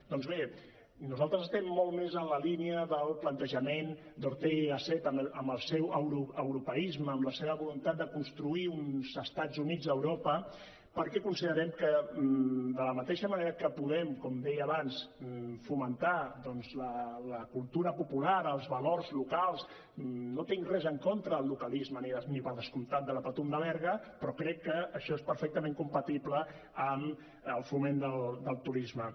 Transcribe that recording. doncs bé nosaltres estem molt més en la línia del plantejament d’ortega y gasset amb el seu europeisme amb la seva voluntat de construir uns estats units d’europa perquè considerem que de la mateixa manera que podem com deia abans fomentar la cultura popular els valors locals no tinc res en contra del localisme ni per descomptat de la patum de berga però crec que això és perfectament compatible amb el foment del turisme